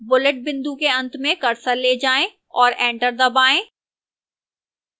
bullet बिंदु के अंत में cursor ले जाएं और enter दबाएं